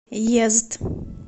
йезд